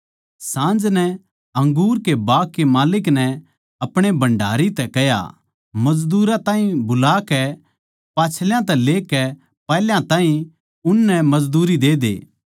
साँझ नै अंगूर के बाग के माल्लिक नै अपणे भण्डारी तै कह्या मजदूरां ताहीं बुलाकै पाच्छल्यां तै लेकै पैहल्या ताहीं उननै मजदूरी देदे